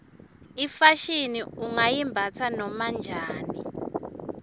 ifashini ungayimbatsa noma njani